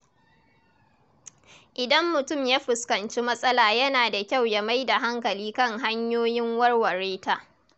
Idan mutum ya fuskanci matsala yana da kyau ya mai da hankali kan hanyoyin warware ta.